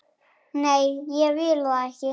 Nei, ég vil það ekki.